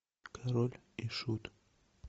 король и шут